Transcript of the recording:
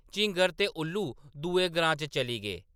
झींगर ते उल्लू दुए ग्रां च चली गे ।